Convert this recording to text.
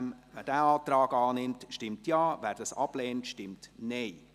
Wer diesen Antrag annimmt, stimmt Ja, wer dies ablehnt, stimmt Nein.